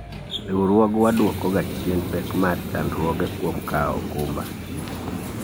Riwruogwa dwoko ga chien pek mar chandruoge kuom kawo okumba